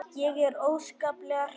Ég er óskaplega hrædd.